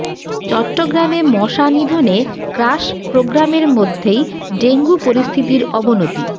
চট্টগ্রামে মশা নিধনে ক্রাশ প্রগ্রামের মধ্যেই ডেঙ্গু পরিস্থিতির অবনতি